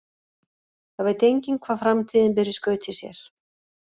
Það veit enginn hvað framtíðin ber í skauti sér.